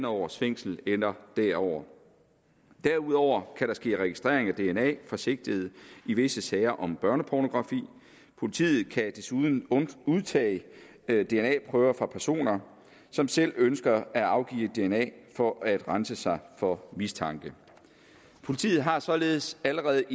års fængsel eller derover derudover kan der ske registrering af dna fra sigtede i visse sager om børnepornografi og politiet kan desuden udtage dna prøver fra personer som selv ønsker at afgive dna for at rense sig for mistanke politiet har således allerede